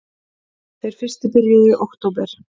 Þeir fyrstu byrjuðu í október